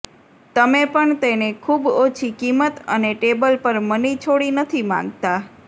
તમે પણ તેને ખૂબ ઓછી કિંમત અને ટેબલ પર મની છોડી નથી માંગતા